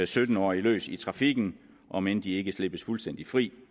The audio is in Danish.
sytten årige trafikken om end de ikke slippes fuldstændig fri